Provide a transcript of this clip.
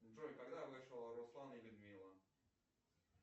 джой когда вышел руслан и людмила